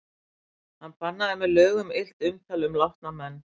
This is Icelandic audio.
Hann bannaði með lögum illt umtal um látna menn.